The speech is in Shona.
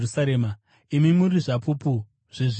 Imi muri zvapupu zvezvinhu izvi.